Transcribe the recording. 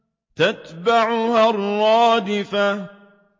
تَتْبَعُهَا الرَّادِفَةُ